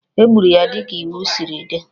E gburu ya dịka iwu siri dị